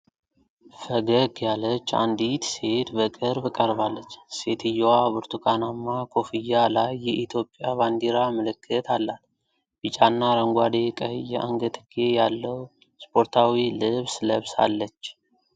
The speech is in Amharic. ፈገግ ያለች አንዲት ሴት በቅርብ ቀርባለች። ሴትየዋ ብርቱካናማ ኮፍያ ላይ የኢትዮጵያ ባንዲራ ምልክት አላት፤ ቢጫና አረንጓዴ፣ ቀይ የአንገትጌ ያለው ስፖርታዊ ልብስ ለብሳለች።